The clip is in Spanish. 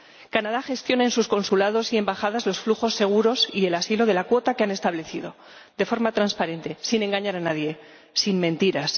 Canadá gestiona en sus consulados y embajadas los flujos seguros y el asilo de la cuota que ha establecido, de forma transparente, sin engañar a nadie, sin mentiras.